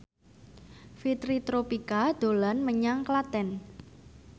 Fitri Tropika dolan menyang Klaten